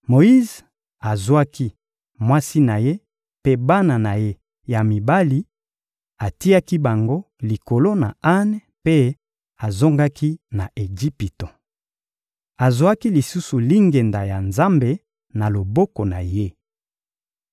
Moyize azwaki mwasi na ye mpe bana na ye ya mibali, atiaki bango likolo ya ane mpe azongaki na Ejipito. Azwaki lisusu lingenda ya Nzambe na loboko na ye.